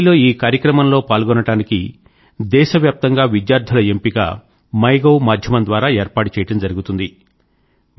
ఢిల్లీ లో ఈ కార్యక్రమం లో పాల్గొనడానికి దేశవ్యాప్తంగా విద్యార్థుల ఎంపిక మైగోవ్ మాధ్యమం ద్వారా ఏర్పాటు చేయడం జరుగుతుంది